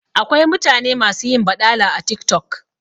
Akwai mutane masu yin baɗala a TikTok